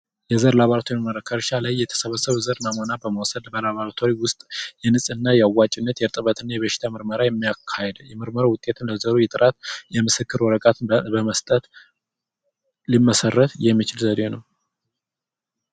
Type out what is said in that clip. የዘር ላብራቶሪ ምርመራ ኸእርሻ ላይ የተሰበሰበ ዘር ናሙና በመዉሰድ በላብራቶሪ ዉስጥ የንጽህና ያዋጭነት የርጥበትና የበሽታ ምርመራ የሚያካሂድ የምርመራ ዉጤትና ጥራት የምስክር ወረቀት በመስጠት ሊመሰረት የሚችል ዘዴ ነዉ።